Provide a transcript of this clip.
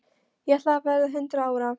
Ég ætla að verða hundrað ára.